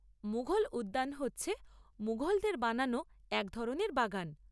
মুঘল উদ্যান হচ্ছে মুঘলদের বানানো এক ধরনের বাগান।